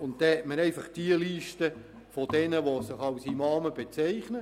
Man hat dann einfach die Liste mit denjenigen, die sich als Imame bezeichnen.